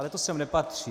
Ale to sem nepatří.